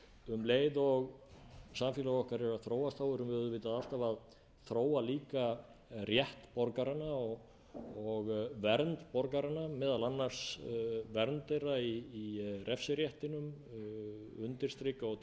um leið og samfélag okkar er að þróast verðum við auðvitað alltaf að þróa líka rétt borgaranna og vernd borgaranna meðal annars vernd þeirra í refsiréttinum undirstrika og